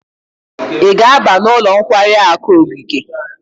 Ị ga-aba n'ụlọ nkwari akụ ogige?